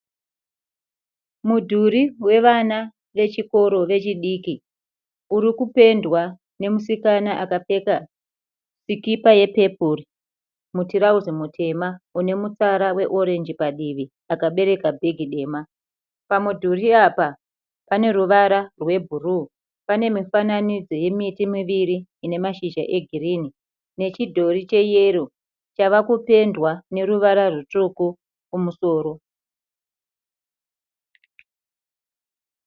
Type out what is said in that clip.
Mudhuri wevana vechikoro vechidiki. Urikupendwa nemusikana akapfeka sikipa yepepuri, mutirauzi mutema unemutsara weoreji padivi, akabereka bhegi dema. Pamudhuri apa paneruvara rwebhuruwu. Pene mifananidzo yemiti muviri ine mashizha egirinhi nechidhori cheyero chavakupendwa neruvara rwutsvuku kumusoro.